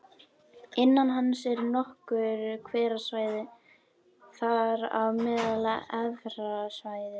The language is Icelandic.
Innan hans eru nokkur hverasvæði, þar á meðal Efra svæðið